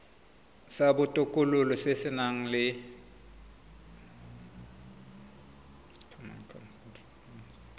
sa botokololo se se nang